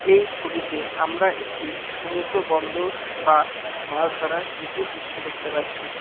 এই ছবিতে আমরা একটি সমুদ্র বন্দর বা মাছ ধরার জেটির দৃশ্য দেখতে পাচ্ছি।